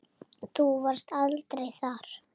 Þú varst aldrei þar.